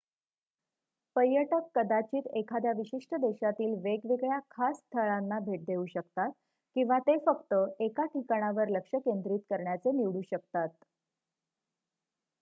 पर्यटक कदाचित एखाद्या विशिष्ट देशातील वेगवेगळ्या खास स्थळांना भेट देऊ शकतात किंवा ते फक्त एका ठिकाणावर लक्ष केंद्रित करण्याचे निवडू शकतात